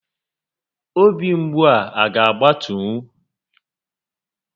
Obi mgbu a ga agbatunwu?